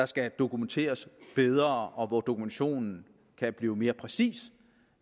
skal dokumenteres bedre og hvor dokumentationen kan blive mere præcis